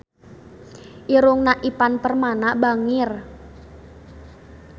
Irungna Ivan Permana bangir